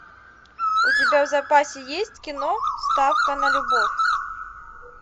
у тебя в запасе есть кино ставка на любовь